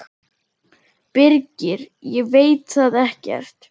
Birgir: Ég veit það ekkert.